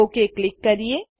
okay click કરીએ